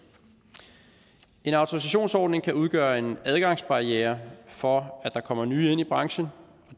en autorisationsordning kan udgøre en adgangsbarriere for at der kommer nye ind i branchen